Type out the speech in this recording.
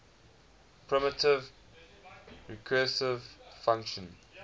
primitive recursive function